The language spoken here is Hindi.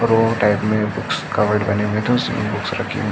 रो टाइप में बुक्स कबर्ड बने हुए तो उसमें बुक्स रखी हुई --